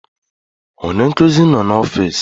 Onye nkuzi noo na ọfịs.